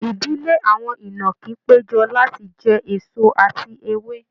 Idile awọn inaki pejọ lati jẹ eso ati ewe